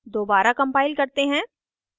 दोबारा compile करते हैं